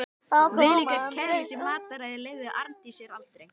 Viðlíka kæruleysi í mataræði leyfði Arndís sér aldrei.